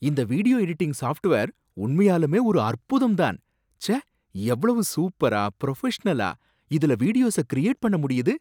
இந்த video editing software உண்மையாலுமே ஒரு அற்புதம் தான்! ச்சே, எவ்ளோ சூப்பரா, புரஃபஷனலா இதுல வீடியோஸ கிரியேட் பண்ண முடியுது.